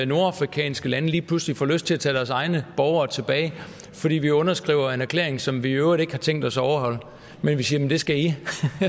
nordafrikanske lande lige pludselig skulle få lyst til at tage deres egne borgere tilbage fordi vi underskriver en erklæring som vi i øvrigt ikke har tænkt os at overholde men siger at det skal de